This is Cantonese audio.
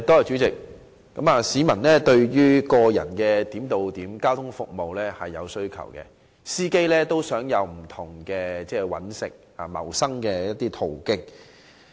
市民對於個人化點對點交通服務是有需求的，而司機也想開拓不同的謀生途徑。